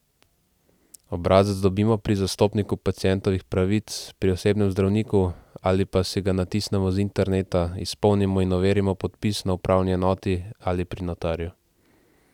Obrazec dobimo pri zastopniku pacientovih pravic, pri osebnem zdravniku ali pa si ga natisnemo z interneta, izpolnimo in overimo podpis na upravni enoti ali pri notarju.